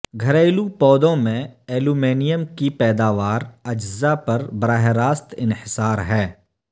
گھریلو پودوں میں ایلومینیم کی پیداوار اجزاء پر براہ راست انحصار ہے